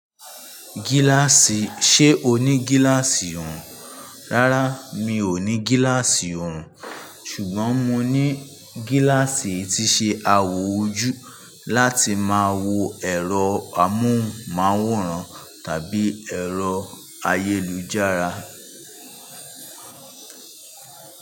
Gíláàsì ṣe o ní gíláàsì òòrùn? Rárá, mi ò ní gíláàsì òòrùn ṣùgbọ́n mo ní gíláàsì tí ṣe awọ ojú láti máa wo ẹ̀rọ amóhùnmáwòrán tàbí ẹ̀rọ ayélujára.